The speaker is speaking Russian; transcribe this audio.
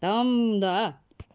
там да